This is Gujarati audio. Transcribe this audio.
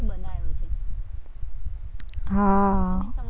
હમ્મ